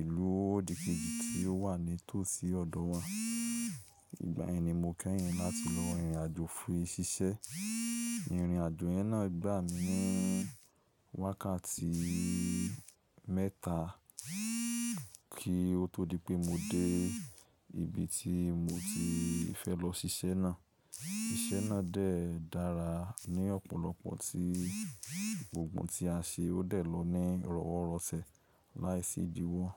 ìlú òdìkejì tí ó wà ní tòsí ọ̀dọ́ wa. Ìgbà yẹn ni mo kẹ́hìn láti lọ rìnrìn àjò fún ṣíṣẹ́. Ìnrìn àjò yẹn náà gbà mí wákàtí mẹ́ta kí ó tó di pé mo dé ibi tí mo ti fẹ́ lọ ṣíṣẹ́ náà. Iṣẹ́ náà dè dára ní ọ̀pọ̀lọpọ̀ tí gbogbo ohun tí a ṣe ó dẹ̀ lọ ní rọ̀wọ̀rọ̀sẹ̀ láìsí ìdíwọ̀n.